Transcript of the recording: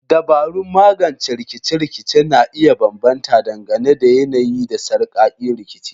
Dabarun magance rikice-rikice na iya bambanta dangane da yanayi da sarkakin rikici.